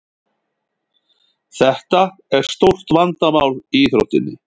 Þetta er stórt vandamál í íþróttinni.